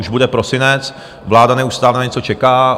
Už bude prosinec, vláda neustále na něco čeká.